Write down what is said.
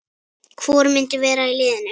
Hvor myndi vera í liðinu?